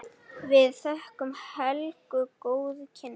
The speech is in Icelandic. Við þökkum Helgu góð kynni.